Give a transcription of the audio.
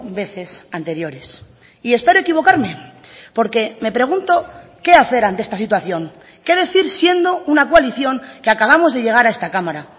veces anteriores y espero equivocarme porque me pregunto qué hacer ante esta situación qué decir siendo una coalición que acabamos de llegar a esta cámara